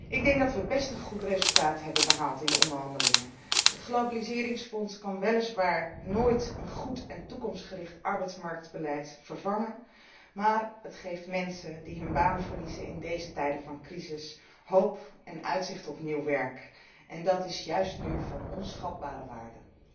Ik denk dat we best een goed resultaat hebben behaald in de onderhandelingen. Het globaliseringsfonds kan weliswaar nooit een goed en toekomstgericht arbeidsmarktbeleid vervangen, maar het geeft mensen die hun baan verliezen in deze tijden van crisis, hoop en uitzicht op nieuw werk en dat is juist nu van onschatbare waarde!